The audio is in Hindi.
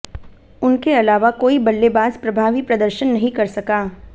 उनके अलावा कोई बल्लेबाज प्रभावी प्रदर्शन नहीं कर सका